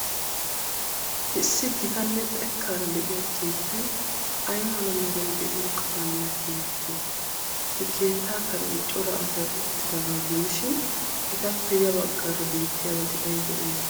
Issi gitanne xekkaaraa de'iya keettay ay mala meray de'iyoo qalamiya tiyettidee? He keettaa karen cora asay uttidaagaa gidishin, etappe yabaggaara bettiyabati aybee aybee?